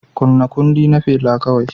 Kunna kundi na Fela kawai